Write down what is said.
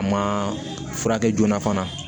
A ma furakɛ joona fana